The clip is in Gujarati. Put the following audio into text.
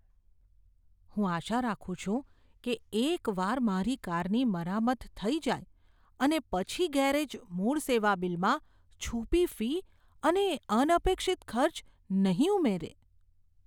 હું આશા રાખું છું કે એકવાર મારી કારની મરામત થઈ જાય પછી ગેરેજ મૂળ સેવાબિલમાં છુપી ફી અને અનપેક્ષિત ખર્ચ નહીં ઉમેરે.